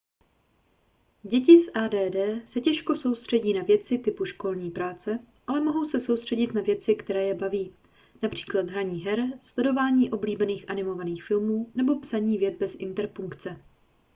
děti s add se těžko soustředí na věci typu školní práce ale mohou se soustředit na věci které je baví například hraní her sledování oblíbených animovaných filmů nebo psaní vět bez interpunkce